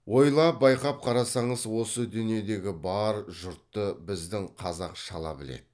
ойлап байқап қарасаңыз осы дүниедегі бар жұртты біздің қазақ шала біледі